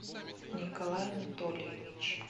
николай анатольевич